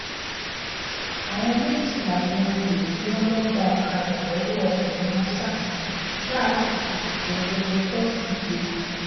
àwọn méjì làwọn olè tí wọn lọọ gba ọkadà lọwọ ọkùnrin haúsá kan láàárọ kùtùkùtù ọjọbọ tọsídẹẹ